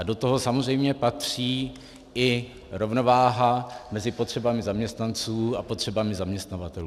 A do toho samozřejmě patří i rovnováha mezi potřebami zaměstnanců a potřebami zaměstnavatelů.